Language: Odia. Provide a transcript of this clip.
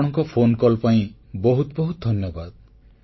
ଆପଣଙ୍କର ଫୋନକଲ୍ ପାଇଁ ବହୁତ ବହୁତ ଧନ୍ୟବାଦ